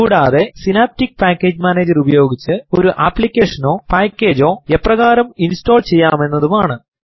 കൂടാതെ synaptic package manager ഉപയോഗിച്ച് ഒരു അപ്ലിക്കേഷനൊ പാക്കേജൊ എപ്രകാരം ഇൻസ്റ്റോൾ ചെയ്യാം എന്നുമാണ്